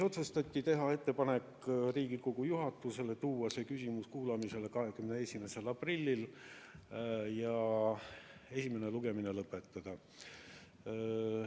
Otsustati teha ettepanek Riigikogu juhatusele tuua see küsimus kuulamisele 21. aprillil ja esimene lugemine lõpetada.